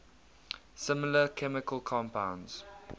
similar chemical compounds